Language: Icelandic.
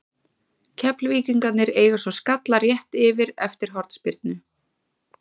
Keflvíkingarnir eiga svo skalla rétt yfir eftir hornspyrnu.